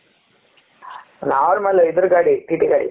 normal ಇದರ ಕಾಡಿ T T ಕಾಡಿ